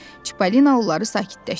Çippolino onları sakitləşdirdi.